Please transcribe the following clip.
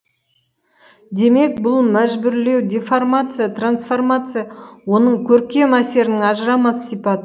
демек бұл мәжбүрлеу деформация трансформация оның көркем әсерінің ажырамас сипат